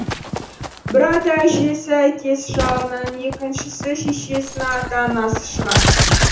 бір ата әжесі әкесі жағынан екіншісі шешесінің ата анасы шығар